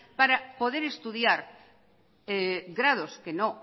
para poder estudiar grados que no